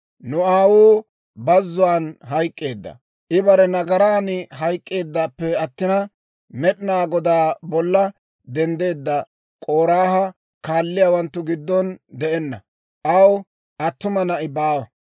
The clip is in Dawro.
«Nu aawuu bazzuwaan hayk'k'eedda; I bare nagaran hayk'k'eeddappe attina, Med'inaa Godaa bolla denddeedda K'oraaha kaalliyaawanttu giddon de'enna. Aw attuma na'i baawa.